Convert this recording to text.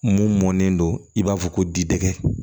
Mun mɔnnen don i b'a fɔ ko diŋɛ